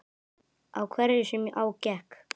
Á hverju sem á gekk.